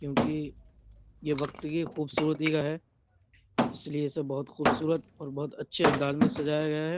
क्योंकि ये वक्त की खूबसूरती का है। इसलिए इसे बोहोत खूबसूरत और बोहोत अच्छे अंदाज में सजाया गया है।